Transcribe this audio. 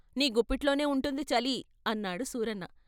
నీ గుప్పిటలోనే ఉంటుంది చలి " అన్నాడు సూరన్న.